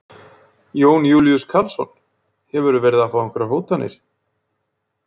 Jón Júlíus Karlsson: Hefurðu verið að fá einhverjar hótanir?